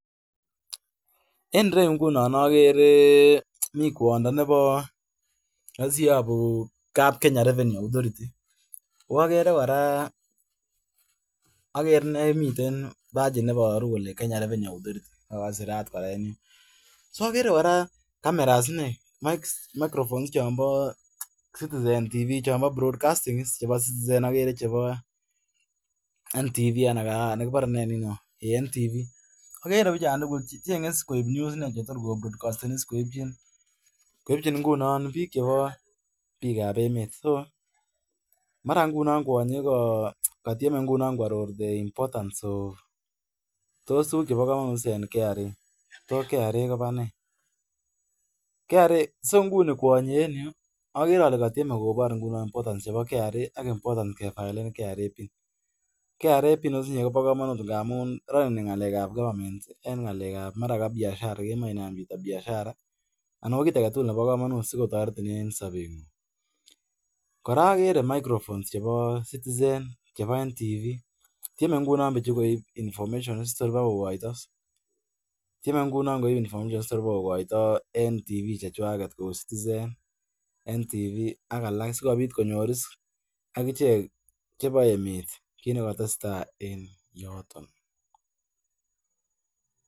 En ireu ingunon agere mi kwondo nebo roisi yobu kapkenya revenew authority ago agere kora agere miten bachit neiboru kole Kenya revenue ago agere sirat kora so agere kora kameras inei ak microphone chon bo citizen tv chon bo broad casting citizen agere chebo ntv ana kibore ei kibore ntvigere bichon tugul asigoek new inei asikosi koibchin ingunon bik chebo biik ab emet mara ingunon kwonyi kokatieme koaror importance tos ukiit nebo kamanut netos u kra kobo nee so inguni kwonyi en ireu agere ole katieme kobor importance chebo kra ke violeten kra pin pin kobo kamanut missing en ngalek ab maran ko biashara ago kiit agetugul ko toretin en sobenyin kora akere microphone chebo citizen chebo ntv koi bichukoib information si torkokoito en tivi chechuaget ak tivi alak sikobit konai emet kit netesetai en yoton